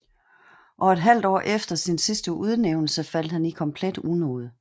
Og et halvt år efter sin sidste udnævnelse faldt han i komplet unåde